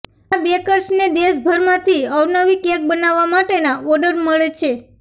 આ બેકર્સને દેશભરમાંથી અવનવી કેક બનાવવા માટેના ઓર્ડર મળે છે